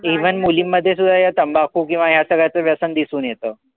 Even मुलींमध्ये या तंबाखू, किंवा या सगळ्याच व्यसन दिसून येत.